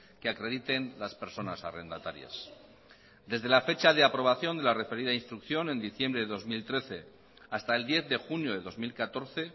que acrediten las personas arrendatarias desde la fecha de aprobación de la referida instrucción en diciembre de dos mil trece hasta el diez de junio de dos mil catorce